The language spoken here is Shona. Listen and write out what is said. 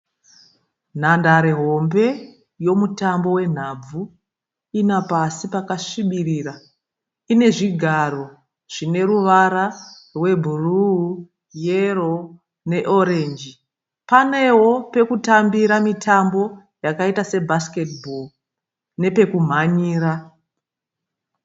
Nhandare hombe yomutambo wenhabvu. Ine pasi pakasvibirira. Ine zvigaro zvine ruvara rwebhuruu, yero neorenji. Paneo pekutambira mitambo yakaita sebhaiketibho nepekumhanyira.